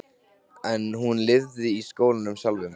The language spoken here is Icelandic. En hún lifði í skólanum sjálfum.